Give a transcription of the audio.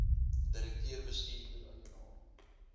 direkteur bestuurder eienaar